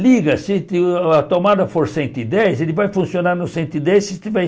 Liga, se a tomada for cento e dez, ele vai funcionar no cento e dez, se tiver